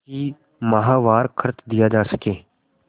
कि माहवार खर्च दिया जा सके